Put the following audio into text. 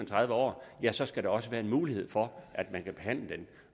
tredive år ja så skal der også være en mulighed for at man kan behandle